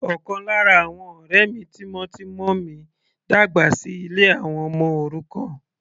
Ọ̀kan lára àwọn ọ̀rẹ́ mi tímọ́tímọ́ mi dàgbà sí ilé àwọn ọmọ òrukàn.